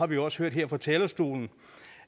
vi også hørt her fra talerstolen